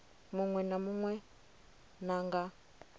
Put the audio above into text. munwe na munwe na nga